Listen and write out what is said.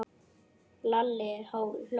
Lalli hló.